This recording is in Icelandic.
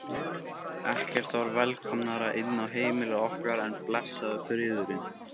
Ekkert var velkomnara inn á heimili okkar en blessaður friðurinn.